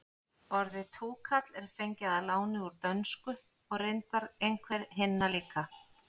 orðið túkall er fengið að láni úr dönsku og reyndar einhver hinna líka